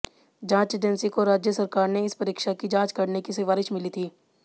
जांच एजेंसी को राज्य सरकार से इस परीक्षा की जांच करने की सिफारिश मिली थी